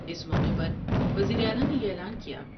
اس موقعے پر وزیر اعلی نے یہ اعلان کیا ۔